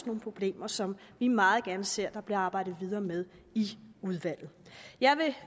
nogle problemer som vi meget gerne ser der bliver arbejdet videre med i udvalget jeg vil